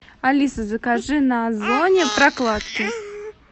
алиса закажи на озоне прокладки